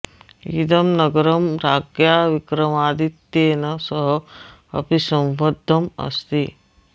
इदं नगरं राज्ञा विक्रमादित्येन सह अपि सम्बद्धम् अस्ति